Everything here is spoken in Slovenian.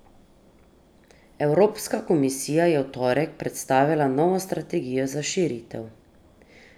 Evropska komisija je v torek predstavila novo strategijo za širitev.